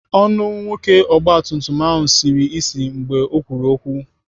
Ọnụ nwoke ọgbatumtum ahụ siri ịsị mgbe ọ kwuru okwu.